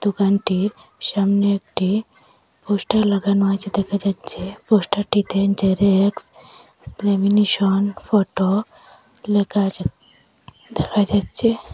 দোকানটির সামনে একটি পোস্টার লাগানো আছে দেখা যাচ্ছে পোস্টারটিতে জেরক্স ল্যামিনেশন ফটো লেখা আছে দেখা যাচ্ছে।